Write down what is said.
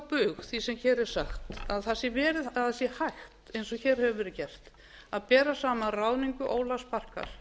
bug því sem hér er sagt að það sé hægt eins og hér hefur verið gert að bera saman ráðningu ólafs barkar